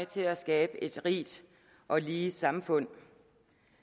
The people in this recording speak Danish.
til at skabe et rigt og lige samfund